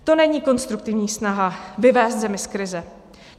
To není konstruktivní snaha vyvést zemi z krize.